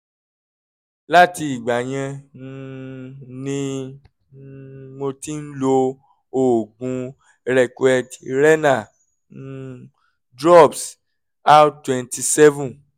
látìgbà yẹn um ni um mo ti ń lo oògùn reckeweg renal um drops r twenty seven